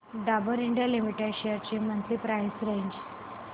Dabur India limited shares ची monthly price range